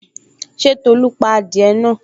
Ṣé Tolu pa adìẹ náà?